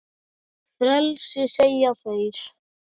Frelsi segja þeir.